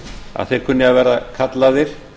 að þeir kunni að vera kallaðir